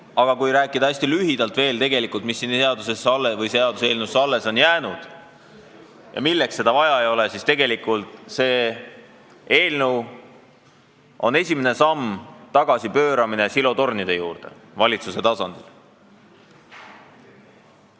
Aga kui rääkida hästi lühidalt veel sellest, mis siia seaduseelnõusse alles on jäänud ja miks seda vaja ei ole, siis tegelikult see eelnõu on esimene samm tagasipöördumisel silotornide juurde valitsuse tasandil.